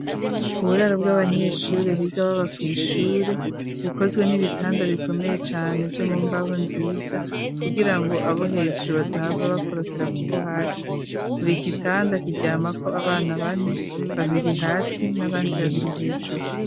Uburaro, bw'abanyeshure, biga baba kw'ishure, bukozwe n'ibitanda, bikomeye cane, vyo mu mbaho, nziza; kugira ngo abo hejuru, badahava bakorokera, ku bo hasi; buri gitanda, kiryamako abana, bane; babiri hasi, n'abandi babiri hejuru.